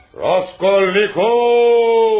Raskolnikov!